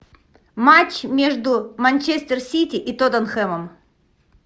матч между манчестер сити и тоттенхэмом